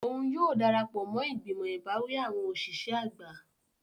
Oun yóò darapọ mo igbimọ ibawi awọn oṣiṣẹ agba.